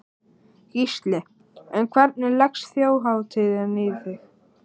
Gísli: En hvernig leggst Þjóðhátíðin í þig?